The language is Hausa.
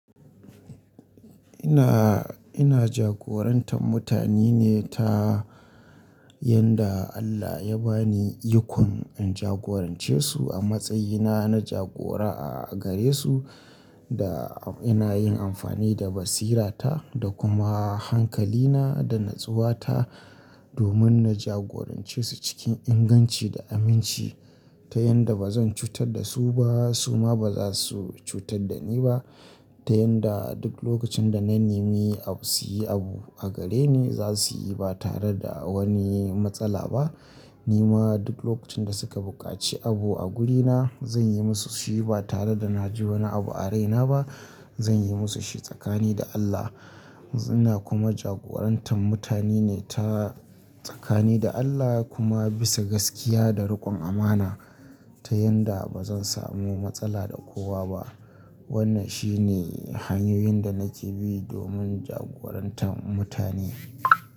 Ina, ina jagorantar mutane ne ta yanda Allah ya ba ni ikon in jagorance su a matsayina na jagora a gare su. Da ina yin amfani da basirata da kuma hankalina da natsuwata domin na jagorance su cikin inganci da aminci ta yanda ba zan cutar da su ba, su ma ba za su cutar da ni ba. Ta yanda duk lokacin da na nemi abu su yi abu a gare ni, za su yi ba tare da wani matsala ba. Ni ma duk lokacin da suka buƙaci abu a gurina, zan yi musu shi ba tare da na ji wani abu a raina ba. Zan yi musu shi tsakani da Allah. Ina kuma jagorantar mutane ne ta tsakani da Allah kuma bisa gaskiya da riƙon amana ta yanda ba zan samu matsala da kowa ba. Wannan shine hanyoyin da na ke bi domin jagorantar mutane.